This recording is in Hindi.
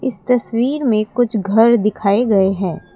इस तस्वीर में कुछ घर दिखाए गए हैं।